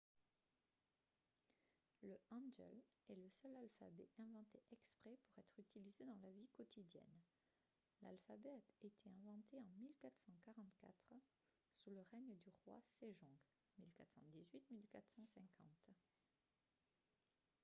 le hangeul est le seul alphabet inventé exprès pour être utilisé dans la vie quotidienne. l'alphabet a été inventé en 1444 sous le règne du roi sejong 1418 – 1450